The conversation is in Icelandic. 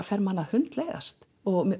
fer manni að hundleiðast